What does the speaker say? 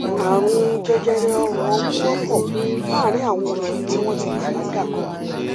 ààrùn jẹjẹrẹ ọrùn ọmú wọpọ láàárín àwọn obìnrin tí wọn ti bàlágà